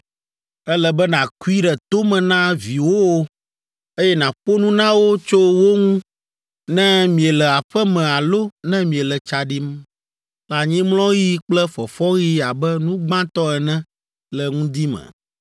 Ele be nàkui ɖe to me na viwòwo, eye nàƒo nu na wo tso wo ŋu ne miele aƒe me alo ne miele tsa ɖim, le anyimlɔɣi kple fɔfɔɣi abe nu gbãtɔ ene le ŋdi me.